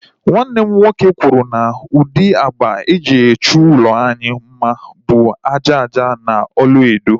Nwanne m nwoke kwuru na ụdị agba e ji chọọ ụlọ anyị mma bụ ájá ájá na ọlaedo